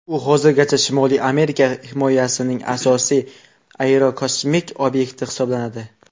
U hozirgacha Shimoliy Amerika himoyasining asosiy aerokosmik obyekti hisoblanadi.